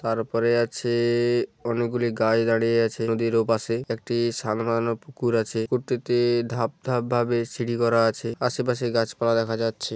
তারপরে আছে-এ-এ অনেকগুলি গাছ দাঁড়িয়ে আছে নদীর ওপাশে। একটি সান বাঁধান পুকুর আছে। প্রত্যেকটি-ই ধাপ ধাপ ভাবে সিঁড়ি করা আছে। আশেপাশে গাছপালা দেখা যাচ্ছে।